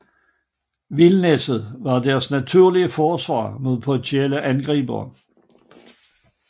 Vildnisset var deres naturlige forsvar mod potentielle angribere